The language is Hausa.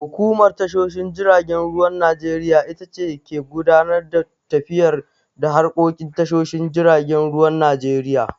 Hukumar tashoshin jiragen ruwan Najeriya itace ke gudanar da tafiyar da harkokin tashoshin jiragen ruwan Najeriya.